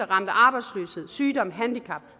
ramt af arbejdsløshed sygdom handicaps